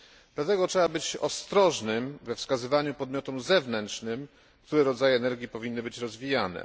Dlatego trzeba być ostrożnym we wskazywaniu podmiotom zewnętrznym, które rodzaje energii powinny być rozwijane.